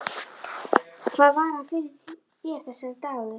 Hvað var hann fyrir þér, þessi dagur.